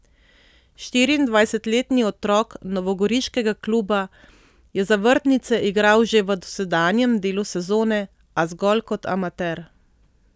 Štiriindvajsetletni otrok novogoriškega kluba je za vrtnice igral že v dosedanjem delu sezone, a zgolj kot amater.